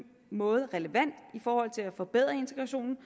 måde relevant i forhold til at forbedre integrationen